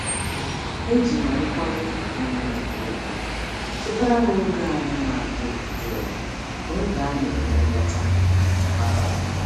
Eji m nkwanye um ùgwù chetara ha oge anyị na-adị jụụ n’oge a na-eme nleta um abalị.